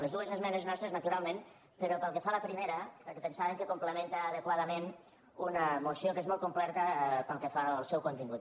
les dues esmenes nostres naturalment però pel que fa a la primera per·què pensàvem que complementa adequadament una moció que és molt completa pel que fa al seu contingut